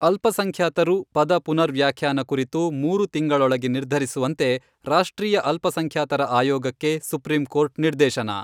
ಅಲ್ಪಸಂಖ್ಯಾತರು 'ಪದ ಪುನರ್ ವ್ಯಾಖ್ಯಾನ ಕುರಿತು ಮೂರು ತಿಂಗಳೊಳಗೆ ನಿರ್ಧರಿಸುವಂತೆ ರಾಷ್ಟ್ರೀಯ ಅಲ್ಪಸಂಖ್ಯಾತರ ಆಯೋಗಕ್ಕೆ ಸುಪ್ರೀಂಕೋರ್ಟ್ ನಿರ್ದೇಶನ.